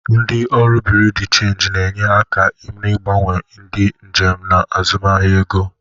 Ndị ọrụ Buriu di Chenji na-enye aka n'ịgbanwere ndị njem na azụmaahịa ego.